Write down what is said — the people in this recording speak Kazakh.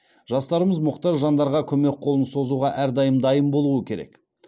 жастарымыз мұқтаж жандарға көмек қолын созуға әрдайым дайын болуы керек